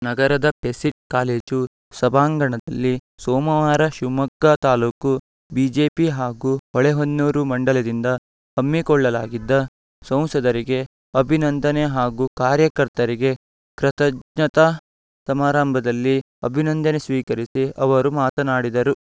ನಗರದ PESIT college ಸಭಾಂಗಣದಲ್ಲಿ ಸೋಮವಾರ ಶಿವಮೊಗ್ಗ ತಾಲೂಕು ಬಿಜೆಪಿ ಹಾಗೂ ಹೊಳೆಹೊನ್ನೂರು ಮಂಡಲದಿಂದಂದ ಹಮ್ಮಿಕೊಳ್ಳಲಾಗಿದ್ದ ಸಂಸದರಿಗೆ ಅಭಿನಂದನೆ ಹಾಗೂ ಕಾರ್ಯಕರ್ತರಿಗೆ ಕೃತಜ್ಞತಾ ಸಮಾರಂಭದಲ್ಲಿ ಅಭಿನಂದನೆ ಸ್ವೀಕರಿಸಿ ಅವರು ಮಾತನಾಡಿದರು